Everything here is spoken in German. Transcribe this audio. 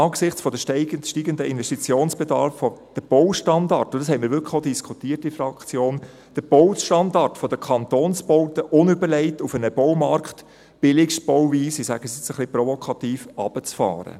Angesichts der steigenden Baustandards fänden wir es auch nicht opportun – und dies haben wir in der Fraktion diskutiert –, den Baustandard der Kantonsbauten unüberlegt auf einen Baumarkt mit «Billigstbauweise» – ich sage es nun ganz provokativ – herunterzufahren.